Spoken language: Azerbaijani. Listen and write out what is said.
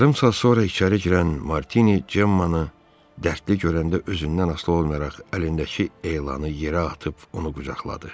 Yarım saat sonra içəri girən Martini Cemmanı dərdli görəndə özündən asılı olmayaraq əlindəki elanı yerə atıb onu qucaqladı.